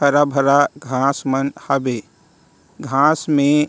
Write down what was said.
हरा-भरा घास मन हाबे घास में--